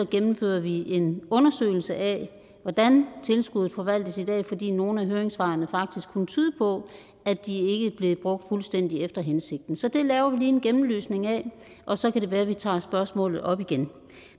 gennemfører vi en undersøgelse af hvordan tilskuddet forvaltes i dag fordi nogle af høringssvarene faktisk kunne tyde på at de ikke bliver brugt fuldstændig efter hensigten så det laver vi lige en gennemlysning af og så kan det være at vi tager spørgsmålet op igen